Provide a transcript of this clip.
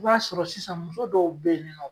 I b'a sɔrɔ sisan muso dɔw be yen nin nɔn